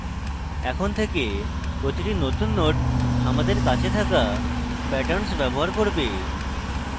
এখন থেকে প্রতিটি নতুন node আমাদের কাছে থাকা patterns ব্যবহার করবে